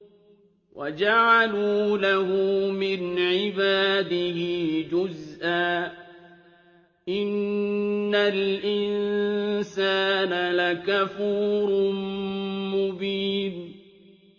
وَجَعَلُوا لَهُ مِنْ عِبَادِهِ جُزْءًا ۚ إِنَّ الْإِنسَانَ لَكَفُورٌ مُّبِينٌ